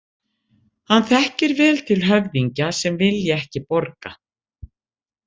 Hann þekkir vel til höfðingja sem vilja ekki borga.